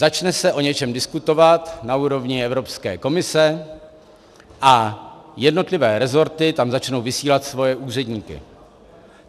Začne se o něčem diskutovat na úrovni Evropské komise a jednotlivé resorty tam začnou vysílat svoje úředníky.